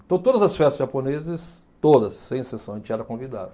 Então, todas as festas japonesas, todas, sem exceção, a gente era convidado.